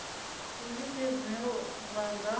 ndi zwifhio zwine vha nga